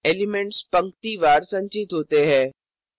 elements पंक्तिवार संचित होते है